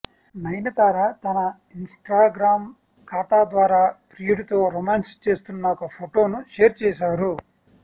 నయనతార తన Instagram ఖాతా ద్వారా ప్రియుడితో రొమాన్స్ చేస్తున్న ఒక ఫోటోను షేర్ చేశారు